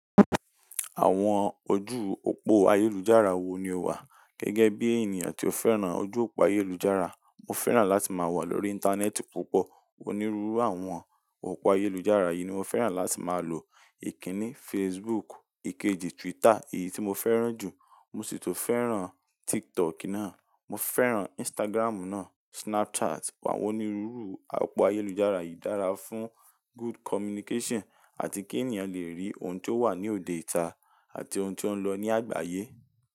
Àwọn ojú òpó ayélujára wo ni o wà? Gẹ́gẹ́ bí ènìyàn tí ó fẹ́ràn ojú òpó ayélujára, mo fẹ́ràn láti máa wà lórí Íńtánẹ́ẹ̀tì púpọ̀. Onírúurú àwọn òpó ayélujára yìí ni mo fẹ́ràn láti máa lò. Ìkìní Facebook, ìkejì Twitter èyí tí mo fẹ́ràn jù. Mo sì tun fẹ́ràn TikTok náà, mo fẹ́ràn Instagram náà, Snapchat. Àwọn onírúurú àpò ayélujára yìí dára fún good communication àti kí ènìyàn lè rí ohun tí ó wà ní òde ìta àti ohun tí ó ń lọ ní àgbáyé.